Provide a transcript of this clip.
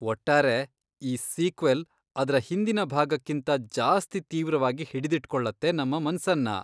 ಒಟ್ಟಾರೆ ಈ ಸೀಕ್ವೆಲ್ ಅದ್ರ ಹಿಂದಿನ ಭಾಗಕ್ಕಿಂತ ಜಾಸ್ತಿ ತೀವ್ರವಾಗಿ ಹಿಡಿದಿಟ್ಕೊಳತ್ತೆ ನಮ್ಮ ಮನ್ಸನ್ನ.